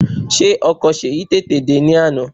Ṣé ọkọ̀ Ṣèyí tètè dè ní àná?